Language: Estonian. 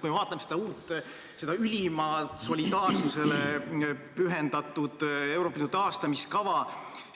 Kui me vaatame seda uut, seda ülimalt solidaarsusele pühendatud Euroopa Liidu taastamiskava,